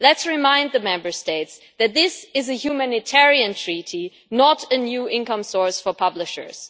So let us remind the Member States that this is a humanitarian treaty, not a new income source for publishers.